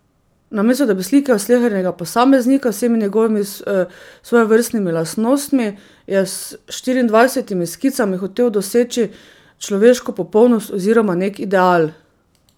Namesto da bi slikal slehernega posameznika z vsemi njegovimi svojevrstnimi lastnostmi, je s štiriindvajsetimi skicami hotel doseči človeško popolnost oziroma nek ideal.